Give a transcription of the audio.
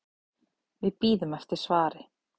Við bíðum eftir svari.